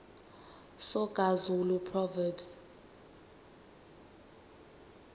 soga zulu proverbs